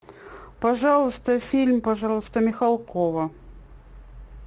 пожалуйста фильм пожалуйста михалкова